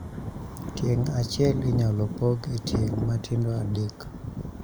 Tieng' achiel inyalo pog e tieng' matindo adek